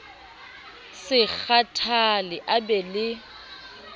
se kgathale a be le